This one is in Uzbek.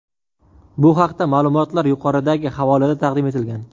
Bu haqdagi ma’lumotlar yuqoridagi havolada taqdim etilgan.